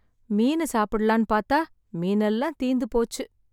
மீனு சாப்பிடலாம் பார்த்தா மீன் எல்லாம் தீந்து போச்சு